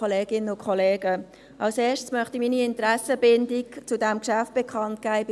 Zuerst möchte ich meine Interessenbindung bei diesem Geschäft bekannt geben.